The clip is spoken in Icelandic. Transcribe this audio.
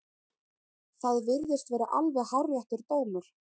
Það virðist vera alveg hárréttur dómur.